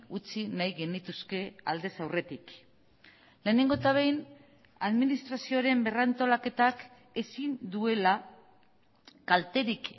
utzi nahi genituzke aldez aurretik lehenengo eta behin administrazioaren berrantolaketak ezin duela kalterik